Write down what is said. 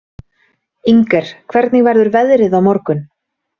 Inger, hvernig verður veðrið á morgun?